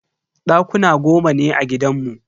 Dakuna goma ne a gidanmu.